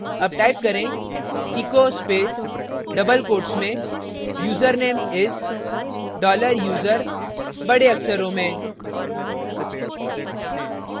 double type करें echo space double quotes में username is dollar user बड़े अक्षरों में